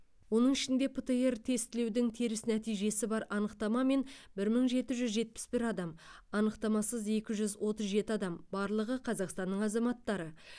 оның ішінде птр тестілеудің теріс нәтижесі бар анықтамамен бір мың жеті жүз жетпіс бір адам анықтамасыз екі жүз отыз жеті адам барлығы қазақстанның азаматтары